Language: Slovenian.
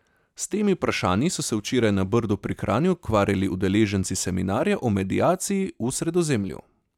S temi vprašanji so se včeraj na Brdu pri Kranju ukvarjali udeleženci seminarja o mediaciji v Sredozemlju.